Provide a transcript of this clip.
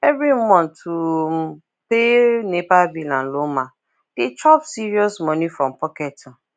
every month to um pay nepa bill and lawma dey chop serious money from pocket um